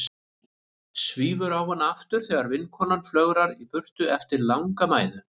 Svífur á hana aftur þegar vinkonan flögrar í burtu eftir langa mæðu.